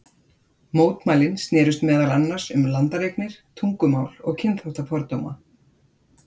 Mótmælin snerust meðal annars um landareignir, tungumál og kynþáttafordóma.